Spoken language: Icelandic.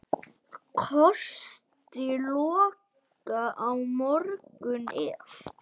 Kosti lokað á morgun ef.